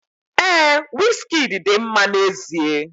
Ee, Wizkidi dị mma n'ezie.